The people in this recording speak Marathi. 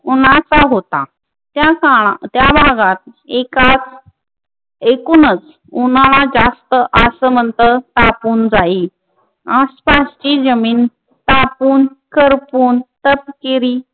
उन्हाचा होता त्या काळात त्या भागात एकाच एकूणच उन्हाळा जास्त असं म्हणत तापून जाई आसपासची जमीन तापून करपून तपकिरी